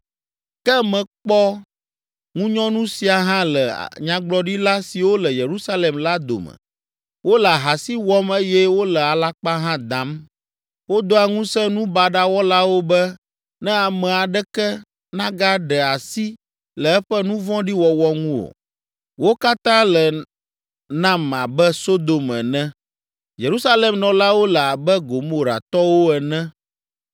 Ke mekpɔ ŋunyɔnu sia hã le nyagblɔɖila siwo le Yerusalem la dome. Wole ahasi wɔm eye wole alakpa hã dam. Wodoa ŋusẽ nu baɖa wɔlawo be ne ame aɖeke nagaɖe asi le eƒe nu vɔ̃ɖi wɔwɔ ŋu o. Wo katã le nam abe Sodom ene. Yerusalem nɔlawo le abe Gomoratɔwo ene.”